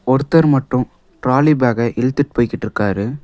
ஒருத்தர் மட்டும் டிராலி பேக்க இழுத்துட்டு போயிட்டு இருக்கிறார்.